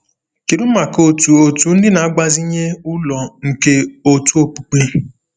Kedu maka otu otu ndị na-agbazinye ụlọ nke òtù okpukpe?